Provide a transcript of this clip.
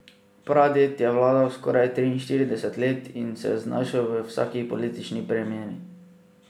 Praded je vladal skoraj triinštirideset let in se znašel v vsaki politični premeni.